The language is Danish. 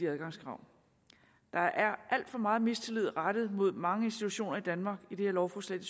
adgangskrav der er alt for meget mistillid rettet mod mange institutioner i danmark i det her lovforslag